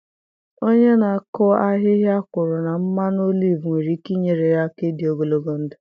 Onye na-akụ ahịhịa kwuru na mmanụ oliv nwere ike inyere ya aka ịdị ogologo ndụ.